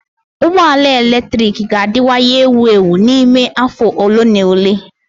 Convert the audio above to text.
Ụgbọ ala eletrik ga-adịwanye ewu ewu n'ime afọ ole na ole.